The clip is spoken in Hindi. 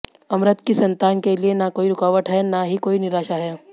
अमृत की संतान के लिए न कोई रुकावट है न ही कोई निराशा है